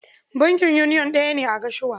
Bankin yuniyon ɗaya ne a Gashua.